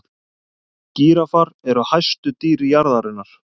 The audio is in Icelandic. gíraffar eru hæstu dýr jarðarinnar